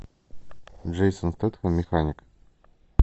джейсон стэтхэм механик